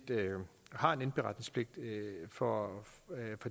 har en indberetningspligt for